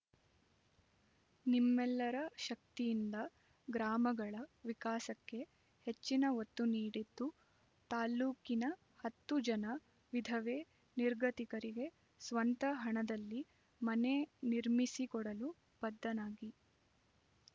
ನಿಮ್ಮೆಲ್ಲರ ಶಕ್ತಿಯಿಂದ ಗ್ರಾಮಗಳ ವಿಕಾಸಕ್ಕೆ ಹೆಚ್ಚಿನ ಒತ್ತು ನೀಡಿದ್ದು ತಾಲ್ಲೂಕಿನ ಹತ್ತು ಜನ ವಿಧವೆ ನಿರ್ಗತಿಕರಿಗೆ ಸ್ವಂತ ಹಣದಲ್ಲಿ ಮನೆ ನಿರ್ಮಿಸಿಕೊಡಲು ಬದ್ದನಾಗಿ